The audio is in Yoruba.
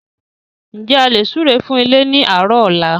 N jẹ́ a lè súre fún ilé ni àárọ̀ ọ̀la?